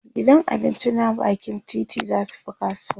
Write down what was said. gidan abinci na bakin titi zasu Fi kasuwa